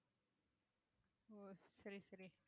ஓ சரி சரி